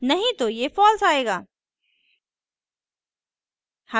नहीं तो ये false आएगा